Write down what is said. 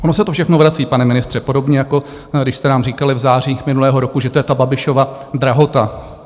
Ono se to všechno vrací, pane ministře, podobně jako když jste nám říkali v září minulého roku, že to je ta Babišova drahota.